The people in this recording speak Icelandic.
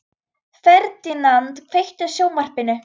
Ferdinand, kveiktu á sjónvarpinu.